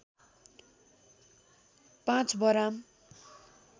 ५ बराम